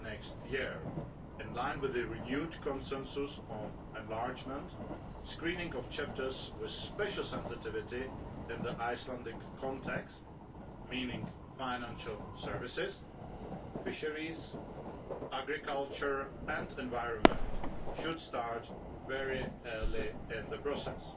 2011. In line with the renewed consensus on enlargement, screening of chapters with special sensitivity in the Icelandic context meaning financial services, fisheries, agriculture and the environment should start very early in the process.